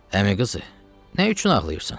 Əmi qızı, nə üçün ağlayırsan?